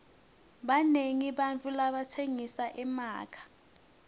banengi bantfu labatsengisa emakha